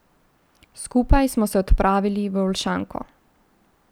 Skupaj smo se odpravili v Olšanko.